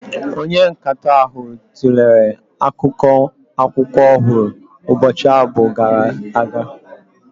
Onye nkatọ ahụ tụlere akụkọ akwụkwọ ọhụrụ ụbọchị abụọ gara aga.